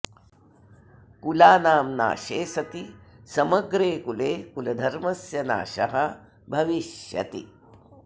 कुलानां नाशे सति समग्रे कुले कुलधर्मस्य नाशः भविष्यति